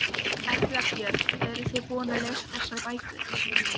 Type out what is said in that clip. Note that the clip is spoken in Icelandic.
Erla Björg: Eruð þið búin að lesa þessar bækur?